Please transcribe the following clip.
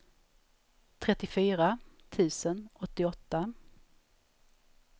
trettiofyra tusen åttioåtta